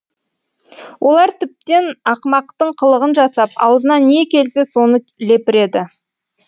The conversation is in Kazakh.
олар тіптен ақымақтың қылығын жасап аузына не келсе соны лепіреді